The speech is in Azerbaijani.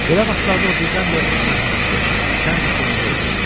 Belə vaxtlarda o birdən-birə çox mərhəmətli, şən və sevincli olurdu.